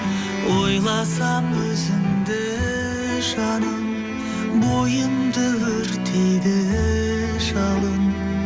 ойласам өзіңді жаным бойымды өртейді жалын